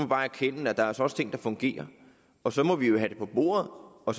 bare erkende at der altså også er ting der fungerer og så må vi jo have det på bordet og